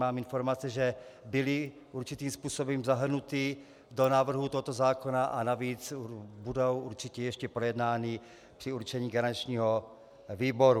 Mám informace, že byly určitým způsobem zahrnuty do návrhu tohoto zákona, a navíc budou určitě ještě projednány při určení garančního výboru.